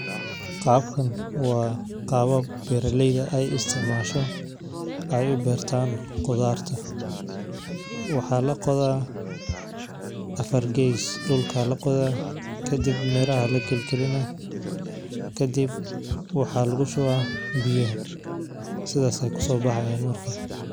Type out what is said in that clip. Qabkan wa qawab beraleydha ay isticmasho, ay ubertan qudharta, waxa laqodhaa afar gees dulka laqodha, kadib miraa aya laqalqalinaa, kadib waxa lagushuwaa biyaxa sidhas aya kusobahayan marka.